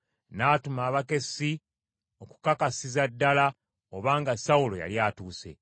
n’atuma abakessi okukakasiza ddala obanga Sawulo yali atuuse.